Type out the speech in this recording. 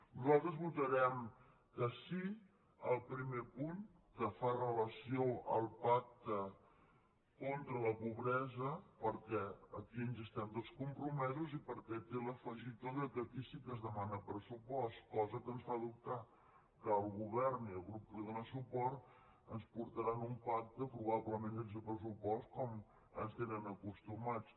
nosaltres votarem que sí al primer punt que fa referència al pacte contra la pobresa perquè aquí hi estem tots compromesos i perquè té l’afegitó que aquí sí que es demana pressupost cosa que ens fa dubtar que el govern i el grup que li dóna suport ens portaran un pacte probablement sense pressupost com ens tenen acostumats